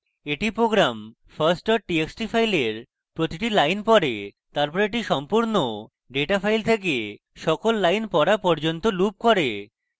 এটি program first txt file প্রতিটি lines পড়ে তারপর এটি সম্পূর্ণ data file then সকল lines পড়া পর্যন্ত loops করে